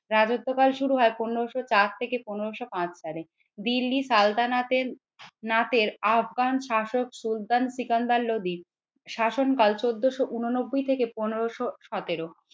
রাজত্বকাল শুরু হয় পনেরোশো চার থেকে পনেরোশো পাঁচ সালে দিল্লির সালতানাতের নাতের আফগান শাসক সুলতান সিকান্দার লোদীর শাসনকাল চোদ্দোশো উননব্বই থেকে পনেরোশো সতেরো।